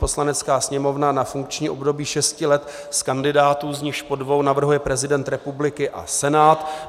Poslanecká sněmovna na funkční období šesti let z kandidátů, z nichž po dvou navrhuje prezident republiky a Senát.